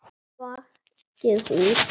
Bakið hús.